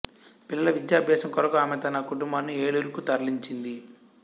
పిల్లల విద్యాభ్యాసం కొరకు ఆమె తన కుటుంబాన్ని ఏలూరుకు తరలించింది